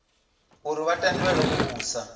uri vha tendelwe u vhusa